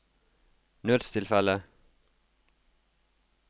nødstilfelle